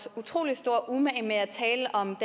utrolig stor umage med at tale om